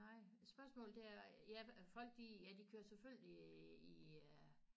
Nej spørgsmålet det er ja folk de ja de kører selvfølgelig i øh